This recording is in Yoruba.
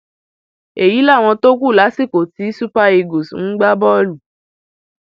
èyí làwọn tó kù lásìkò tí super eagles ń gbá bọọlù